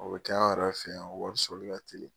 O bi k'an yɛrɛ fɛ yan, o wari sɔrɔli ka teli